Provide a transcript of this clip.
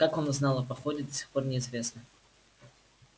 как он узнал о походе до сих пор неизвестно